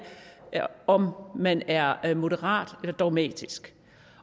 om man er moderat eller dogmatisk